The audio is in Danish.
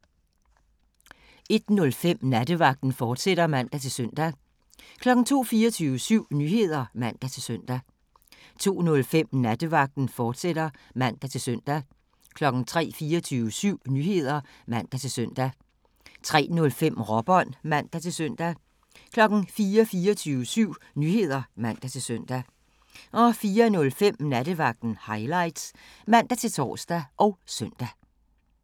01:05: Nattevagten, fortsat (man-søn) 02:00: 24syv Nyheder (man-søn) 02:05: Nattevagten, fortsat (man-søn) 03:00: 24syv Nyheder (man-søn) 03:05: Råbånd (man-søn) 04:00: 24syv Nyheder (man-søn) 04:05: Nattevagten Highlights (man-tor og søn)